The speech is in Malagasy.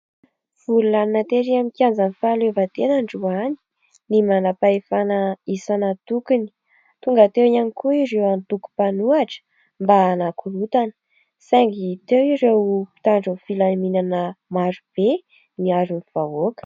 Vorilanona tery amin'ny kianjan'ny fahaleovantena androany ny manampahefana isan' antokony tonga teo ihany koa ireo antoko mpanohitra mba hanakorotana saingy teo ireo mpitandron'ny filaminana marobe niaron'ny vahoaka.